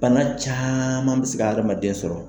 Bana caaman bɛ se ka hadamaden sɔrɔ.